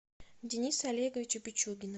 дениса олеговича пичугина